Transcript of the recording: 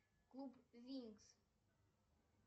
клуб винкс